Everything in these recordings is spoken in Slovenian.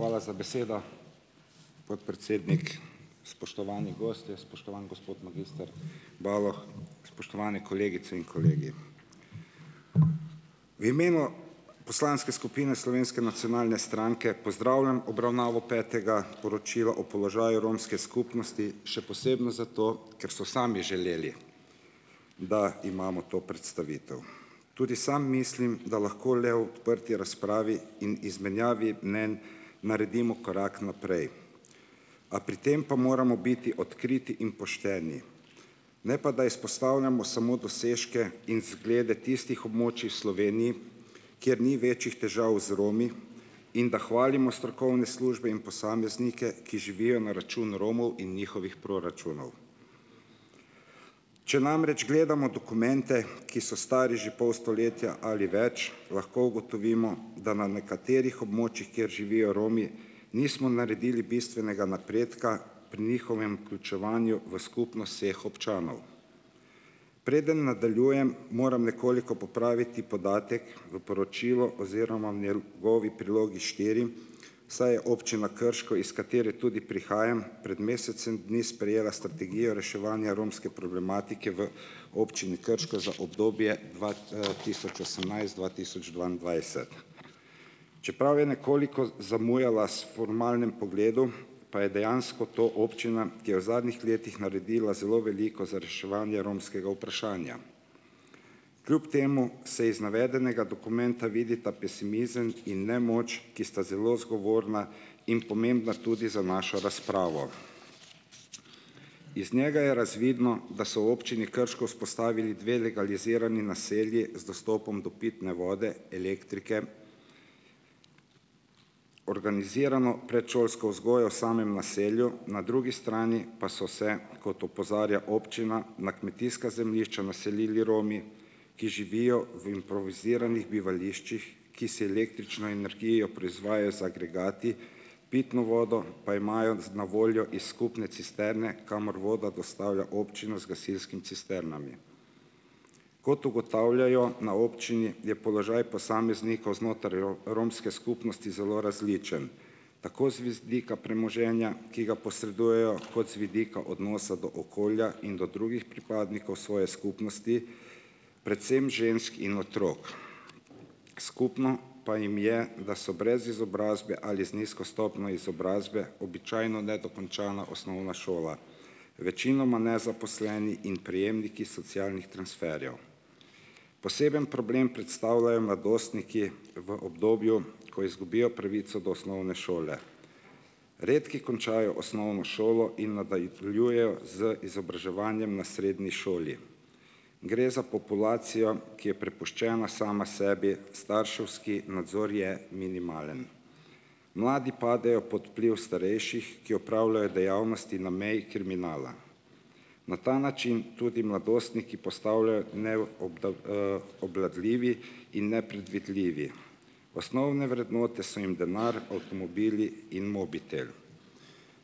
Hvala za besedo, podpredsednik. Spoštovani gostje, spoštovan gospod magister Baloh, spoštovani kolegice in kolegi. V imenu poslanske skupine Slovenske nacionalne stranke pozdravljam obravnavo petega poročila o položaju romske skupnosti, še posebno zato, ker so sami želeli, da imamo to predstavitev. Tudi sam mislim, da lahko le v odprti razpravi in izmenjavi mnenj naredimo korak naprej. A pri tem pa moramo biti odkriti in pošteni. Ne pa da izpostavljamo samo dosežke in zglede tistih območij v Sloveniji, kjer ni večjih težav z Romi, in da hvalimo strokovne službe in posameznike, ki živijo na račun Romov in njihovih proračunov. Če namreč gledamo dokumente, ki so stari že pol stoletja ali več, lahko ugotovimo, da na nekaterih območjih, kjer živijo Romi, nismo naredili bistvenega napredka pri njihovem vključevanju v skupnost vseh občanov. Preden nadaljujem, moram nekoliko popraviti podatek v poročilu oziroma njegovi Prilogi štiri, saj je občina Krško, iz katere tudi prihajam, pred mesecem dni sprejela strategijo reševanja romske problematike v občini Krško za obdobje dva tisoč osemnajst-dva tisoč dvaindvajset. Čeprav je nekoliko zamujala s formalnim pogledom, pa je dejansko to občina, ki je v zadnjih letih naredila zelo veliko za reševanje romskega vprašanja. Kljub temu se iz navedenega dokumenta vidita pesimizem in nemoč, ki sta zelo zgovorna in pomembna tudi za našo razpravo. Iz njega je razvidno, da so v občini Krško vzpostavili dve legalizirani naselji z dostopom do pitne vode, elektrike, organizirano predšolsko vzgojo v samem naselju, na drugi strani pa so se, kot opozarja občina, na kmetijska zemljišča naselili Romi, ki živijo v improviziranih bivališčih, ki si električno energijo proizvajajo z agregati, pitno vodo pa imajo s na voljo iz skupne cisterne, kamor vodo dostavlja občina z gasilskimi cisternami. Kot ugotavljajo na občini, je položaj posameznikov znotraj romske skupnosti zelo različen. Tako z vidika premoženja, ki ga posredujejo, kot z vidika odnosa do okolja in do drugih pripadnikov svoje skupnosti, predvsem žensk in otrok. Skupno pa jim je, da so brez izobrazbe ali z nizko stopnjo izobrazbe, običajno nedokončana osnovna šola. Večinoma nezaposleni in prejemniki socialnih transferjev. Poseben problem predstavljajo mladostniki v obdobju, ko izgubijo pravico do osnovne šole. Redki končajo osnovno šolo in nadaljujejo z izobraževanjem na srednji šoli. Gre za populacijo, ki je prepuščena sama sebi, starševski nadzor je minimalen. Mladi padejo pod vpliv starejših, ki opravljajo dejavnosti na meji kriminala. Na ta način tudi mladostniki postavljajo ne obvladljivi in nepredvidljivi. Osnovne vrednote so jim denar, avtomobili in mobitel.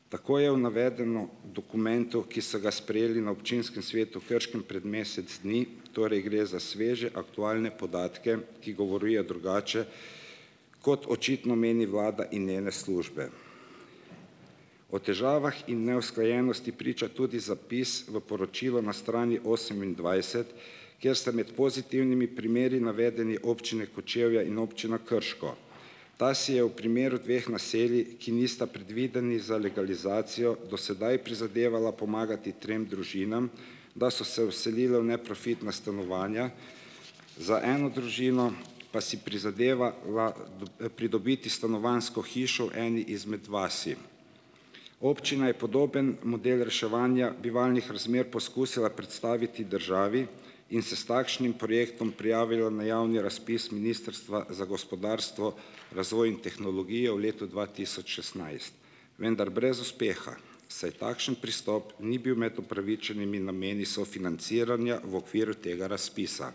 Tako je navedeno v dokumentu, ki so ga sprejeli na občinskem svetu v Krškem pred mesec dni, torej gre za sveže, aktualne podatke, ki govorijo drugače, kot očitno meni vlada in njene službe. O težavah in neusklajenosti priča tudi zapis v poročilu na strani osemindvajset, kjer sta med pozitivnimi primeri navedeni občine Kočevje in občina Krško. Ta si je v primeru dveh naselij, ki nista predvideni za legalizacijo, do sedaj prizadevala pomagati trem družinam, da so se vselile v neprofitna stanovanja. Za eno družino pa si prizadeva pridobiti stanovanjsko hišo v eni izmed vasi. Občina je podoben model reševanja bivalnih razmer poskusila predstaviti državi in se s takšnim projektom prijavila na javni razpis Ministrstva za gospodarstvo, razvoj in tehnologijo v letu dva tisoč šestnajst, vendar brez uspeha, saj takšen pristop ni bil med upravičenimi nameni sofinanciranja v okviru tega razpisa.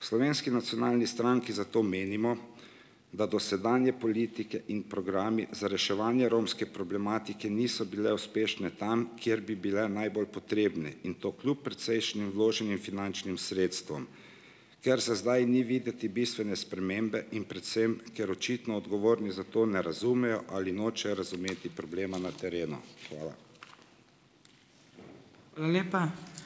V Slovenski nacionalni stranki zato menimo, da dosedanje politike in programi za reševanje romske problematike niso bile uspešne tam, kjer bi bile najbolj potrebne in to kljub precejšnjim vloženim finančnim sredstvom, ker za zdaj ni videti bistvene spremembe in predvsem ker očitno odgovorni za to ne razumejo ali nočejo razumeti problema na terenu. Hvala.